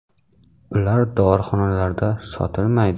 Ular dorixonalarda sotilmaydi.